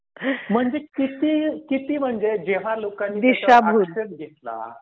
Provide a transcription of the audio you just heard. म्हणजे किती, किती म्हणजे जेव्हा लोकांची दिशाभूल होते.